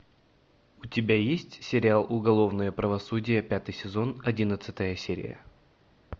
у тебя есть сериал уголовное правосудие пятый сезон одиннадцатая серия